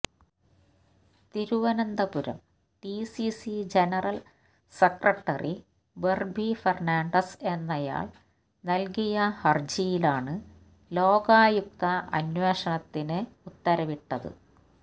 Thiruvananthapuram DCC general secretary Berbi Fernandez എന്നയാള് നല്കിയ ഹര്ജിയിലാണ് ലോകായുക്ത അന്വേഷണത്തിന് ഉത്തരവിട്ടത്